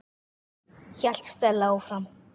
hélt Stella áfram.